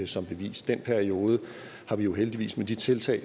som bevis den periode er vi jo heldigvis med de tiltag